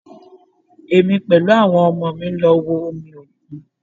Èmi pẹ̀lú àwọn ọmọ mi lọ wo omi òkun